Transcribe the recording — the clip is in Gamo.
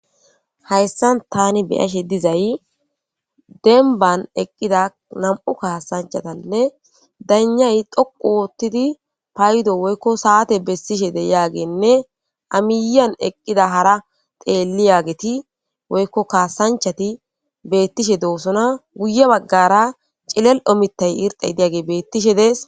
hayssan tani beyashe dizay denban eqqida nam7u kaasanchatanne danyay dhoqu woottidi paydo woykko saate bessishe deyaagenne amiiyan eqqida hara xeelli yaageti woykko kaasanchati beettishe doosona guye baggara cilel omitay irxey diyage beettishe dees